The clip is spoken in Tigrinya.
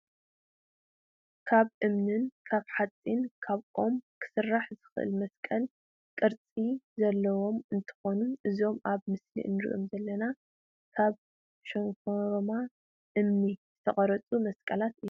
ካብ እምን ካብ ሓፂን ካብ ኦምን ክስራሕ ዝክእል መስቀል ቅርፂ ዘለዎም እንትከውኑ እዞም ኣብ ምስሊ እንሪኦም ዘለና ካብ ሸንሾሮማ እምኒ ዝቀረፁ መስቀላት እዮም።